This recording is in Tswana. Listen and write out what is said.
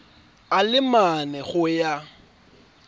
a le mane go ya